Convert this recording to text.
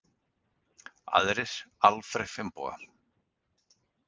Aðrir: Alfreð Finnboga.